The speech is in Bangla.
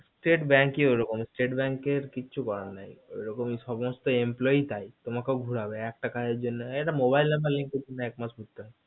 state bank কি ওরকম state bank এ কিছু করার নেই ওরকম সমস্ত employ তাই তোমাকে ও ঘুরাবে mobile number একটা জন্য এক মাস ঘুরতে হয়